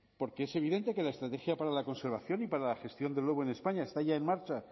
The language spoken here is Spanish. porque es evidente que la estrategia para la conservación y para la gestión del lobo en españa está ya en marcha